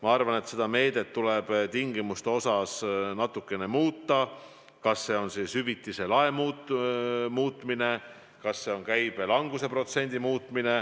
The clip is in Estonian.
Ma arvan, et selle meetme tingimusi tuleb natukene muuta – kas see on hüvitise lae muutmine või lähtumine teisest käibelanguse protsendist.